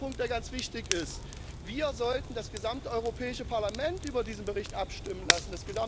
Zweiter Punkt, der ganz wichtig ist Wir sollten das gesamte Europäische Parlament über diesen Bericht abstimmen lassen.